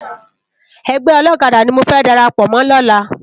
Ègbè òlòkàdá ni mó fè dàrápò mò lòlá